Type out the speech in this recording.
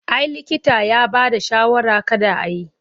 A'a likita ya bada shawarar kada a yi.